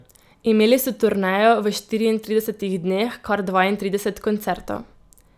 Imeli so turnejo, v štiriintridesetih dneh kar dvaintrideset koncertov.